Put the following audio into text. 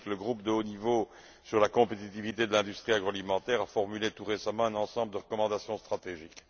C'est ainsi que le groupe de haut niveau sur la compétitivité de l'industrie agroalimentaire a formulé tout récemment un ensemble de recommandations stratégiques.